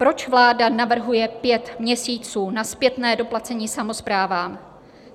Proč vláda navrhuje pět měsíců na zpětné doplacení samosprávám?